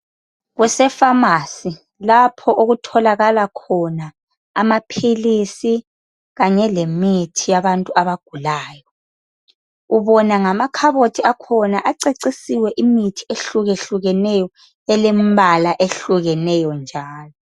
Kusefamasi lapho okutholakala khona amaphilisi kanye lemithi yabantu abagulayo ubona ngamakhabothi akhona acecisiwe imithi ehlukehlukeneyo elembala ehlukeneyo njalo.